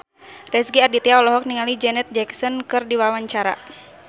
Rezky Aditya olohok ningali Janet Jackson keur diwawancara